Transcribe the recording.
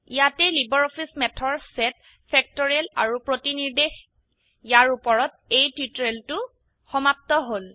ইয়াতেই লাইব্ৰঅফিছ ম্যাথৰ set factorial আৰু প্ৰতিনিৰ্দেশ ইয়াৰ উপৰত এই টিউটোৰিয়েলটো সমাপ্ত হল